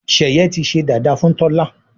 sheye tí sé dada fún Tola.